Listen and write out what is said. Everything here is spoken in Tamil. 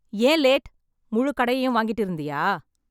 ஏன் லேட்? முழு கடையையும் வாங்கிட்டு இருந்தியா ?